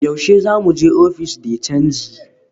Yaushe za mu je ofis de canji?